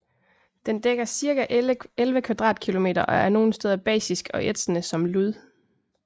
Den dækker cirka 11 kvadratkilometer og er nogle steder basisk og ætsende som lud